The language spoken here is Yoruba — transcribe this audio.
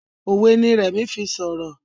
òwe ní Remi fí sọrọ.